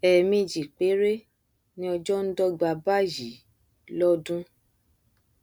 ẹẹmejì péré ni ọjọ ndọga báyìí lọdún